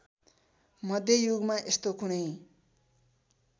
मध्ययुगमा यस्तो कुनै